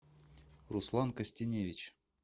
руслан костеневич